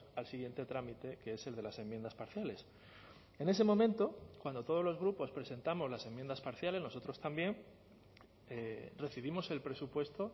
al siguiente trámite que es el de las enmiendas parciales en ese momento cuando todos los grupos presentamos las enmiendas parciales nosotros también recibimos el presupuesto